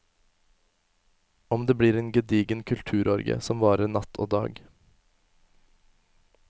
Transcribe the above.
Og det blir en gedigen kulturorgie som varer natt og dag.